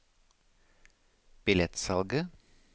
billettsalget